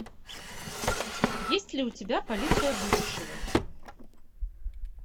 есть ли у тебя полиция будущего